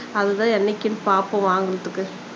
அது தான் என்னைக்குன்னு பாப்போம் வாங்குறதுக்கு